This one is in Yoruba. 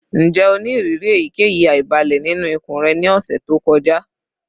Njẹ o ni iriri eyikeyi aibalẹ ninu ikun rẹ ni ọsẹ to kọja?